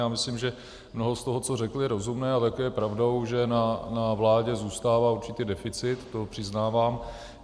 Já myslím, že mnoho z toho, co řekl, je rozumné, a také je pravdou, že na vládě zůstává určitě deficit, to přiznávám.